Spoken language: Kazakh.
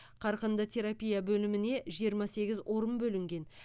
қарқынды терапия бөліміне жиырма сегіз орын бөлінген